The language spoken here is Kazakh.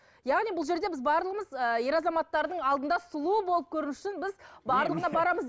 яғни бұл жерде біз барлығымыз ы ер азаматтардың алдында сұлу болып көріну үшін біз барлығына барамыз